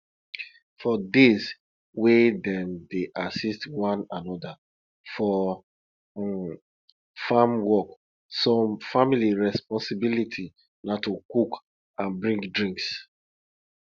for days wey dem dey assist one another for um farm work some family responsibility na to cook and bring drinks